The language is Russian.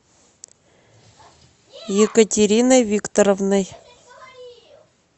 екатериной викторовной